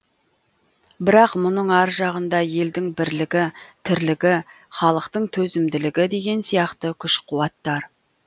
бірақ мұның ар жағында елдің бірлігі тірлігі халықтың төзімділігі деген сияқты күш қуаттар